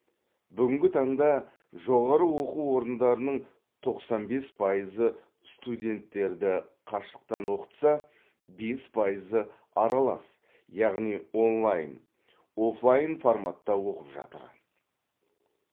бүгінгі таңда жоғары оқу орындарының тоқсан бес пайызы студенттерді қашықтан оқытса бес пайызы аралас яғни онлайн офлайн форматта оқып жатыр